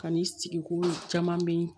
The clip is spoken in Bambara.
Kan'i sigi ko caman bɛ ye